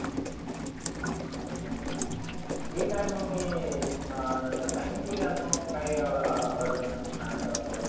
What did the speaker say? हम्म ठिक आहे मग मी अं नंतर सांगिन तुले आता मग काही अगर असेन तर. सांगायच आसलं तर.